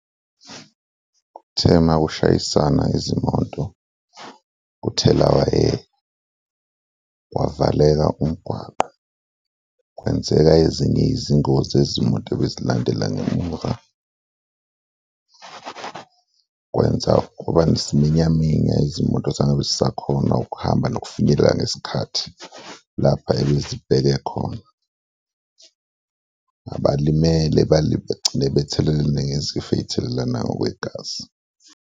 Kuthe makushayisana izimoto kuthelawayeka kwavaleka umgwaqo, kwenzeka ezinye izingozi zezimoto ebezilandela ngemuva, kwenza kwaba nesiminyaminya, izimoto zangabe zisakhona ukuhamba nokufinyelela ngesikhathi lapha ebezibheke khona, abalimele begcine bethelelane ngezifo ey'thelelana ngokwegazi.